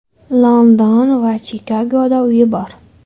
London va Chikagoda uyi bor.